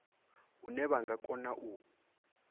hune vha nga kona u